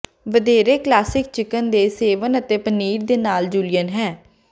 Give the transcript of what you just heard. ਵਧੇਰੇ classic chicken ਦੇ ਸੇਵਨ ਅਤੇ ਪਨੀਰ ਦੇ ਨਾਲ ਜੁਲੀਅਨ ਹੈ